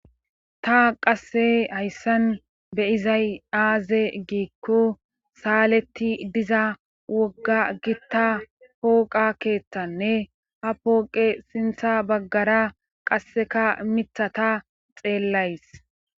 Ta qasse hayssan beyizay aaze giikko saaletti diza wogga gitta pooqa keeththanne ha pooqe sintha baggara qasseka mithata xeellays